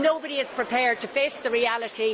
Nobody is prepared to face reality.